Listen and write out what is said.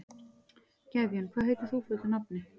Gefjun, hvað heitir þú fullu nafni?